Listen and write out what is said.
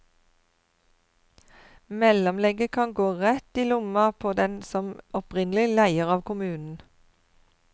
Mellomlegget kan gå rett i lomma på den som opprinnelig leier av kommunen.